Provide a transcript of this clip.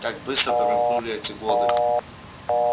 как быстро промелькнули эти годы